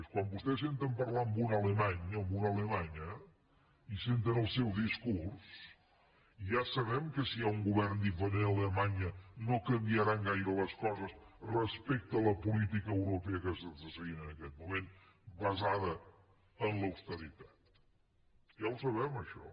quan vostès senten parlar un alemany o una alemanya i senten el seu discurs ja sabem que si hi ha un govern diferent a alemanya no canviaran gaire les coses respecte a la política europea que s’està seguint en aquest moment basada en l’austeritat ja ho sabem això